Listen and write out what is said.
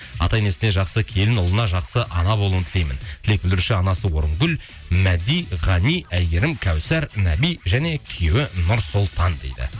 ата енесіне жақсы келін ұлына жақсы ана болуын тілеймін тілек білдіруші анасы орынгүл мәди ғани әйгерім кәусар нәби және күйеуі нұрсұлтан дейді